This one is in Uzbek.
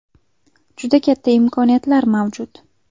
Juda katta imkoniyatlar mavjud.